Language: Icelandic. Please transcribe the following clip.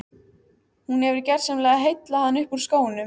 Hún hefur gersamlega heillað hann upp úr skónum.